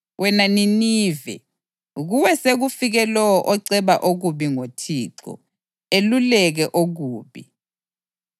Wena Nineve, kuwe sekufike lowo oceba okubi ngoThixo, eluleke okubi.